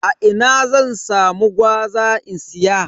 A ina zan samu gwaza in siya?